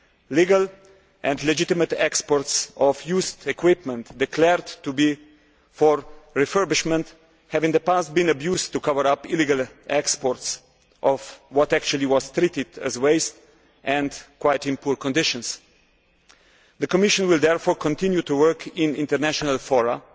Legal and legitimate exports of used equipment declared to be for refurbishment have in the past been abused to cover up illegal exports of what was in fact treated as waste and was in quite poor condition. The Commission will therefore continue to work in international forums